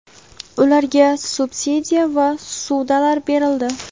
ularga subsidiya va ssudalar berildi.